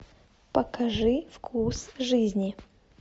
покажи вкус жизни